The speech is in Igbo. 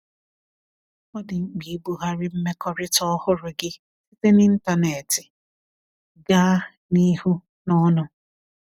Ọ dị mkpa ibughari mmekọrịta ọhụrụ gị site n’ịntanetị gaa n’ihu n’ọnụ.